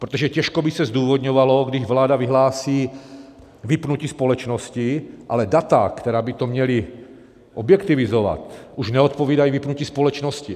Protože těžko by se zdůvodňovalo, když vláda vyhlásí vypnutí společnosti, ale data, která by to měla objektivizovat, už neodpovídají vypnutí společnosti.